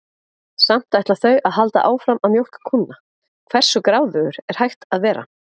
Samt ætla þau að halda áfram að mjólka kúnna, hversu gráðugur er hægt að vera?